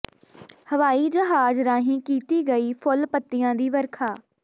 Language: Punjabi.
ਹਵਾਈ ਜਹਾਜ਼ ਰਾਹੀਂ ਕੀਤੀ ਗਈ ਫੁੱਲ ਪੱਤੀਆਂ ਦੀ ਵਰਖਾ